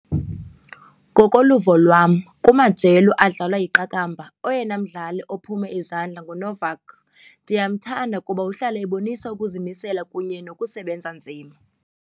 Ngokoluvo lwam kumajelo adlalwa yiqakamba oyena mdlali ophume izandla nguNovak. Ndiyamthanda kuba uhlala ebonisa ukuzimisela kunye nokusebenza nzima.